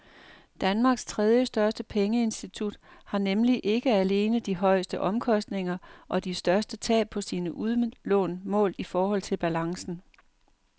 Danmarks tredjestørste pengeinstitut har nemlig ikke alene de højeste omkostninger og de største tab på sine udlån målt i forhold til balancen.